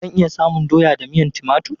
Zan iya samun doya da miyan timatur?